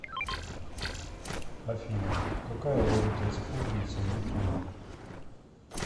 афина какая валюта используется в японии